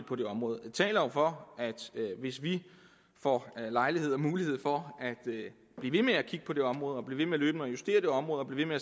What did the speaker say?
på det område det taler jo for at hvis vi får lejlighed til og mulighed for at blive ved med at kigge på det område blive ved med løbende at justere det område og blive ved